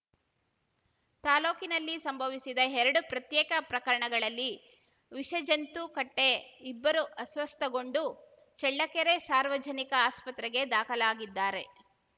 ತಾಲೂಕಿನಲ್ಲಿ ಸಂಭವಿಸಿದ ಎರಡು ಪ್ರತ್ಯೇಕ ಪ್ರಕರಣಗಳಲ್ಲಿ ವಿಷಜಂತು ಕಟ್ಟೆ ಇಬ್ಬರು ಅಸ್ವಸ್ಥಗೊಂಡು ಚಳ್ಳಕೆರೆ ಸಾರ್ವಜನಿಕ ಆಸ್ಪತ್ರೆಗೆ ದಾಖಲಾಗಿದ್ದಾರೆ